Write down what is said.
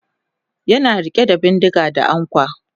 yana rike da bindinga da ankwa